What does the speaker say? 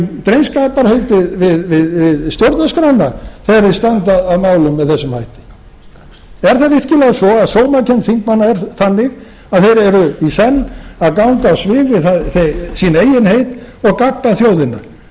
eigin undirskriftir um drengskaparheitið við stjórnarskrána þegar þeir standa að málum með þessum hætti er það virkilega svo að sómakennd þingmanna sé þannig að þeir eru í senn að ganga á svig við sín eigin heit og gabba þjóðina að